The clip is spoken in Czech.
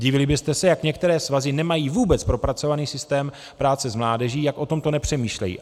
Divili byste se, jak některé svazy nemají vůbec propracovaný systém práce s mládeží, jak o tomto nepřemýšlejí.